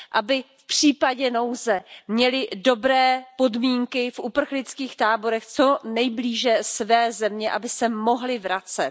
Aby v případě nouze měli dobré podmínky v uprchlických táborech co nejblíže své země, aby se mohli vracet.